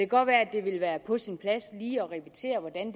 godt være at det ville være på sin plads lige at repetere hvordan